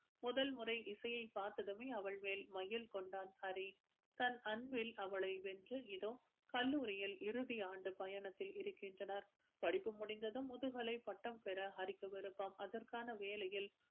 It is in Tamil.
முதல் முறை இசையை பார்த்ததுமே அவள் மேல் மையல் கொண்டான் ஹரி தன் அன்பில் அவளை வென்று இதோ கல்லூரியில் இறுதி ஆண்டு பயணத்தில் இருக்கின்றனர் படிப்பு முடிந்ததும் முதுகலை பட்டம் பெற ஹரிக்கு விருப்பம் அதற்கான வேலையில்